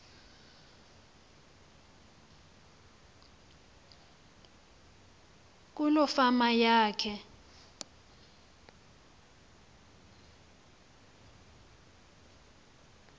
kuloo fama yakhe